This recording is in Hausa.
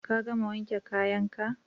Ka gama wanke kayan ka?